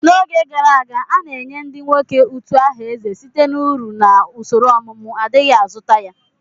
N'oge gara aga, a na-enye ndị nwoke utu aha eze site na uru na usoro ọmụmụ, adighi azụta ya.